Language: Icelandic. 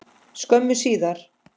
skömmu síðar.